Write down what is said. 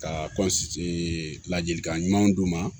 Ka ladilikan ɲumanw d'u ma